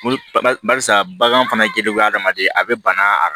Barisa bagan fana giriwu bɛ hadamaden a bɛ bana